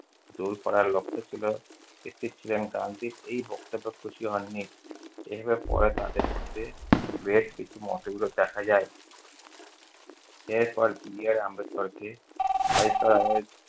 দূর করার লক্ষ ছিল। গান্ধী এই বক্তব্যে খুশি হননি। পরে তাঁদের মধ্যে ভেদ মতবিরোধ দেখা যায়। এর পর বি. আর. আম্বেদকরকে